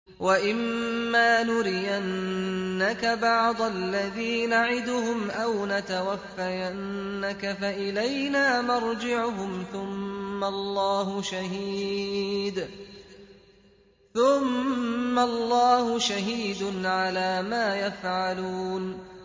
وَإِمَّا نُرِيَنَّكَ بَعْضَ الَّذِي نَعِدُهُمْ أَوْ نَتَوَفَّيَنَّكَ فَإِلَيْنَا مَرْجِعُهُمْ ثُمَّ اللَّهُ شَهِيدٌ عَلَىٰ مَا يَفْعَلُونَ